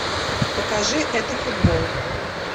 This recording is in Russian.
покажи это футбол